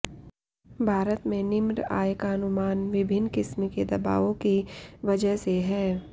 भारत में निम्र आय का अनुमान विभिन्न किस्म के दबावों की वजह से है